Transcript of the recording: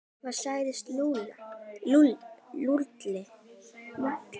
Hvað sagði Lúlli?